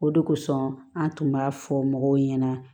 O de kosɔn an tun b'a fɔ mɔgɔw ɲɛna